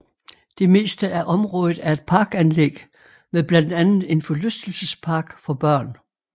De meste af området er et parkanlæg med blandt andet en forlystelsespark for børn